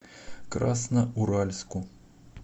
красноуральску